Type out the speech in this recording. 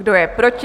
Kdo je proti?